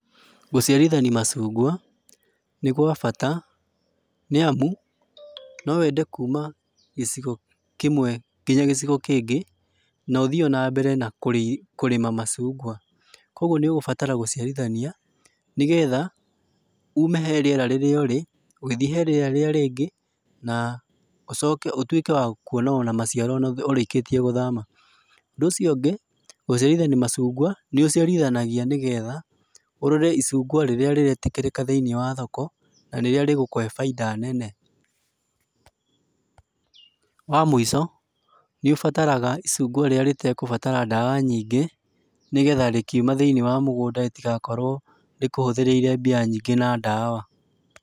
Gũciarithania macungwa, nĩ gwa bata, nĩamu no wende kuma gĩcigo kĩmwe kinya gĩcigo kĩngĩ, na ũthiĩ ona mbere na kũrĩma macungwa. Kuoguo nĩũgũbatara gũciarithania, nĩgetha ume he riera rĩrĩa ũrĩ, ũgĩthiĩ he rĩera rĩrĩa rĩngĩ, na ũcoke ũtuĩke wa kuona ona maciaro ona ũrĩkĩtie gũthama. Ũndũ ũcio ũngĩ, gũciarithania macungwa, nĩũciarithanagia nĩgetha, ũrore icungwa rĩrĩa rĩretĩkĩrĩka thĩiniĩ wa thoko, na rĩrĩa rĩgũkũhe bainda nene pause. Wa mũico, nĩũbataraga icungwa rĩrĩa rĩtegũbatara ndawa nyingĩ, nĩgetha rĩkiuma thĩiniĩ wa mũgũnda rĩtigakorũo rĩkũhũthĩrĩire mbia nyingĩ na ndawa.